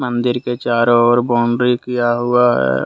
मंदिर के चारों ओर बॉउंड्री किया हुआ है।